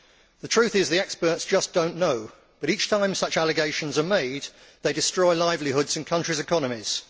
The truth is that the experts just do not know, but each time such allegations are made, they destroy livelihoods in countries' economies.